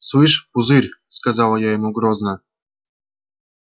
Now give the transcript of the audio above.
слышишь пузырь сказала я ему грозно